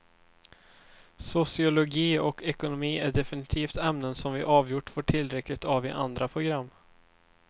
Sociologi och ekonomi är definitivt ämnen som vi avgjort får tillräckligt av i andra program.